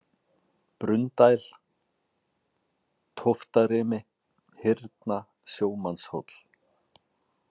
Brunndæl, Tóftarimi, Hyrna, Sjómannshóll